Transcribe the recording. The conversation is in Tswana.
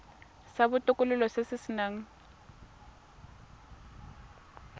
sa botokololo se se nang